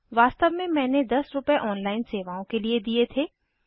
वास्तव में मैंने 10 रूपए ऑनलाइन सेवाओं के लिए दिए थे